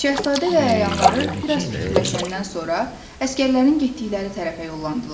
Şahzadə və əyanları bir az fikirləşəndən sonra əsgərlərin getdikləri tərəfə yollandılar.